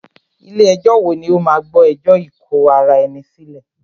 Ilé ẹ̀jọ wo ní o máà gbọ́ ẹjọ́ ikò ará ẹni sílẹ̀?